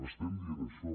estem dient això